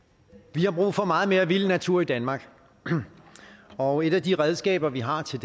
vi har brug for meget mere vild natur i danmark og et af de redskaber vi har til